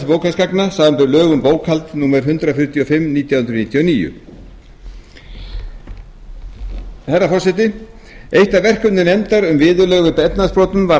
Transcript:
bókhaldsgagna samanber lög um bókhald númer hundrað fjörutíu og fimm nítján hundruð níutíu og níu eitt af verkefnum nefndar um viðurlög við efnahagsbrotum var að